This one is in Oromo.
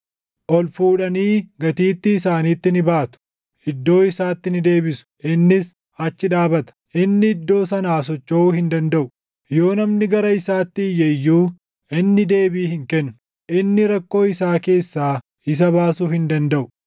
Ol fuudhanii gatiittii isaaniitti ni baatu; iddoo isaatti ni deebisu; innis achi dhaabata. Inni iddoo sanaa sochoʼuu hin dandaʼu. Yoo namni gara isaatti iyye iyyuu, inni deebii hin kennu; inni rakkoo isaa keessaa isa baasuu hin dandaʼu.